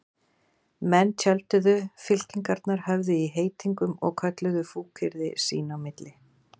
Menn tjölduðu, fylkingarnar höfðu í heitingum og kölluðu fúkyrði sín á milli.